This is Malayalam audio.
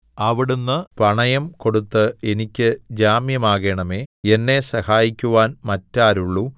അവിടുന്ന് പണയംകൊടുത്ത് എനിയ്ക്ക് ജാമ്യമാകേണമേ എന്നെ സഹായിക്കുവാൻ മറ്റാരുള്ളു